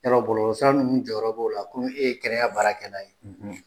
Yɔrɔ bɔlɔsira ninnu jɔyɔrɔ b'o la, komi e ye kɛnɛya baarakɛlan ye ?